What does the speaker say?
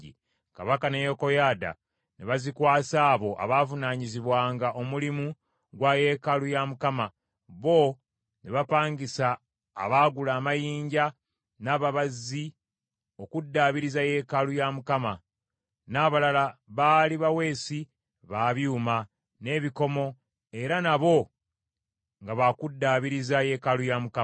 Kabaka ne Yekoyaada ne bazikwasa abo abaavunaanyizibwanga omulimu gwa yeekaalu ya Mukama , bo ne bapangisa abaagula amayinja n’ababazzi okuddaabiriza yeekaalu ya Mukama , n’abalala baali baweesi ba byuma n’ebikomo era nabo nga baakuddaabiriza yeekaalu ya Mukama .